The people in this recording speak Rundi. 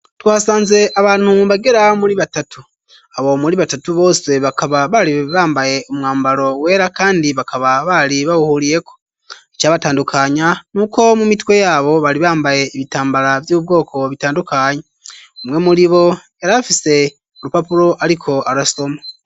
Tuhasanze abantu bagera muri batatu abo muri batatu bose bakaba baribambaye umwambaro wera, kandi bakaba bari bawuhuriyeko ica batandukanya n'uko mu mitwe yabo bari bambaye ibitambara vy'ubwoko bitandukanya umwe muri bo yarafise urupapuro, ariko arastomo.